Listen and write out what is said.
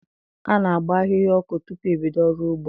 A na-agba ahịhịa ọkụ tupu e bido ọrụ ugbo.